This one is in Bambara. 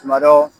Tuma dɔ